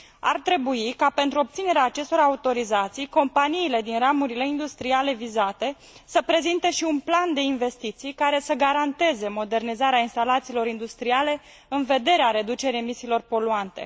Ar trebui ca, pentru obținerea acestor autorizații, companiile din ramurile industriale vizate să prezinte și un plan de investiții care să garanteze modernizarea instalațiilor industriale în vederea reducerii emisiilor poluante.